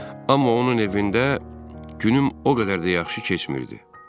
Amma onun evində günüm o qədər də yaxşı keçmirdi.